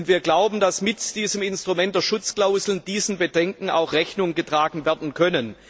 Wir glauben, dass mit dem Instrument der Schutzklauseln diesen Bedenken auch Rechnung getragen werden kann.